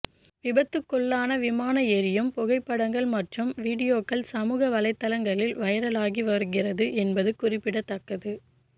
விபத்துக்குள்ளான விமானம் எரியும் புகைப்படங்கள் மற்றும் வீடியோக்கள் சமூக வலைத்தளங்களில் வைரலாகி வருகிறது என்பது குறிப்பிடத்தக்கது